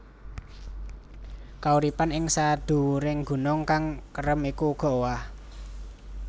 Kauripan ing sadhuwuring gunung kang kerem iku uga owah